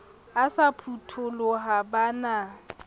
e sa phutoloha ba na